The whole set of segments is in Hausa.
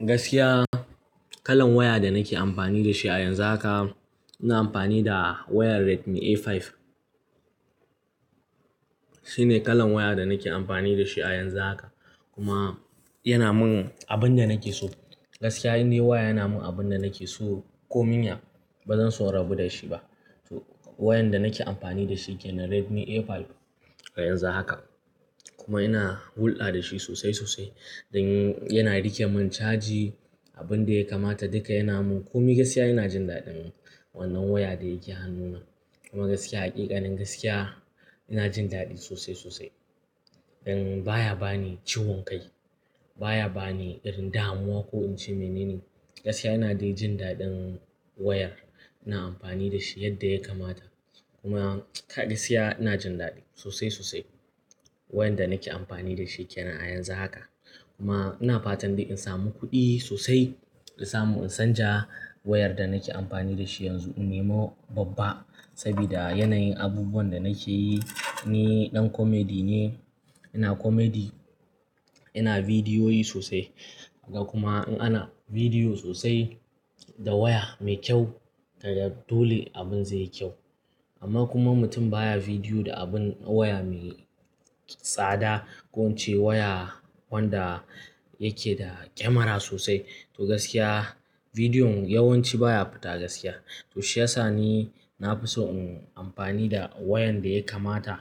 Gaskiya kalan waya da nake amfani da shi a yanzu haka, ina amfani da wayar Redmi A5. Shine kalan waya da nake amfani da shi a yanzu haka kuma yana mun abun da nake so. Gaskiya indai waya yana mun abun da nake so ko min ya ba zan so rabu da shi ba. To wayan da nake amfani da shi yake na Redmi A5 a yanzu haka kuma ina hulɗa da shi sosai sosai. Dan yana rike mun caji, abun da ya kamata duka yana mun. Ko mi gaskiya ina jin daɗin wannan waya da yake hannuna. Kuma gaskiya, hakikanin gaskiya ina jin daɗi sosai sosai. Dan baya bani ciwon kai, baya bani irin damuwa ko in ce mene ne. Gaskiya ina dai jin daɗin wayar ina amfani da shi yadda ya kamata. Kuma gaskiya ina jin daɗi sosai sosai wayan da nake amfani da shi yake nan a yanzu haka. Kuma ina fatan dai in samu kuɗi sosai, in samu in canja wayar da nake amfani da shi yanzu, in nema babba. Saboda yanayin abubuwan da nake yi ni ɗan comedy ne, ina comedy, ina bidiyoyi sosai. Kuma in ana bidiyo sosai da waya mai kyau kaga dole abun zai yi kyau. Amma kuma mutum baya bidiyo da abin waya mai tsada ko in ce waya wanda yake da kyamara sosai. To gaskiya bidiyon yawanci baya fita gaskiya. To shi ya sa ni na fi so in amfani da wayan da ya kamata,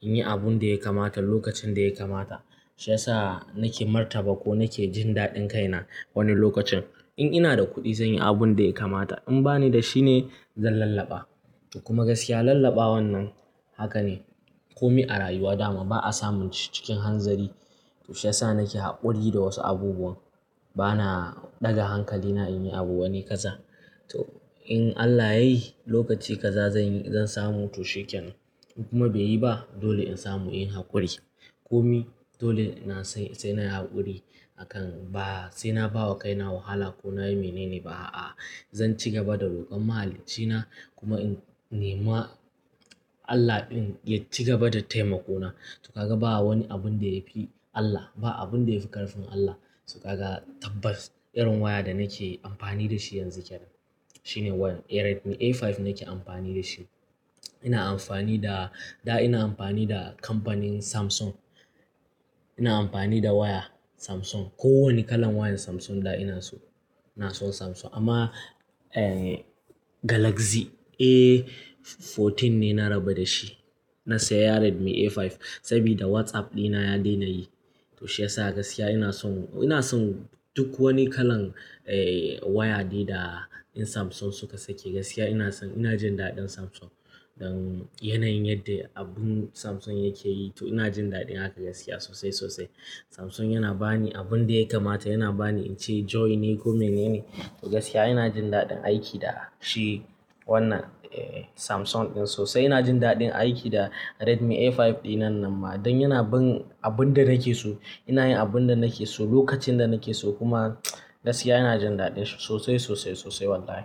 in yi abun da ya kamata lokacin da ya kamata. Shi ya sa nake martaba ko nake jin daɗin kaina wani lokacin. In ina da kuɗi zan yi abun da ya kamata, in bani da shi ne zan lallaba. Kuma gaskiya lallaba wannan haka ne. Ko mi a rayuwa dama ba a samu cikin hanzari. To shi ya sa nake haƙuri da wasu abubuwan. Bana ɗaga hankalina in yi abu wani kaza. To in Allah ya yi lokaci kaza zan yi, zan samu to shiken. Kuma bai yi ba dole in samu in haƙuri. Ko mi dole na sai, sai na yi haƙuri akan ba, sai na bawa kaina wahala ko na yi mene ne ba a. Zan ci gaba da rokon mahalincina kuma in nema Allah in ya ci gaba da taimako na. To ka ga ba wani abun da ya fi Allah, ba abun da ya fi ƙarfin Allah. To ka ga tabbas irin waya da nake amfani da shi yanzu ke nan. Shine wayan Redmi A5 nake amfani da shi. Ina amfani da, da ina amfani da kamfanin Samsung. Ina amfani da waya Samsung. Ko wani kalan wayan Samsung da ina so. Ina son Samsung amma, eh Galaxy A14 ne na raba da shi. Na saya Redmi A5 saboda WhatsApp ɗina ya daina yi. To shi ya sa gaskiya ina son, ina son duk wani kalan, eh waya ne da ɗan Samsung suka sake. Gaskiya ina son, ina jin daɗin Samsung. Dan yanayin yadda abun Samsung yake yi to ina jin daɗin haka gaskiya sosai sosai. Samsung yana bani abun da ya kamata, yana bani in ce joy ne ko mene ne. To gaskiya ina jin daɗin aiki da shi wannan, eh Samsung ɗin sosai. Ina jin daɗin aiki da Redmi A5 ɗin nan nan ma. Don yana bin abun da nake so. Ina yin abun da nake so lokacin da nake so kuma gaskiya ina jin daɗin shi sosai sosai sosai wallahi.